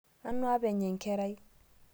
Nanu apenye nkerai